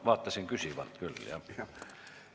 Vaatasin küsivalt küll, jah!